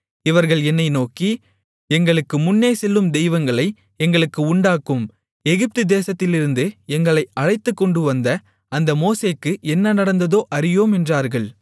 இவர்கள் என்னை நோக்கி எங்களுக்கு முன்னேசெல்லும் தெய்வங்களை எங்களுக்கு உண்டாக்கும் எகிப்து தேசத்திலிருந்து எங்களை அழைத்துக்கொண்டுவந்த அந்த மோசேக்கு என்ன நடந்ததோ அறியோம் என்றார்கள்